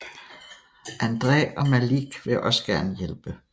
Andre og Malik vil også gerne hjælpe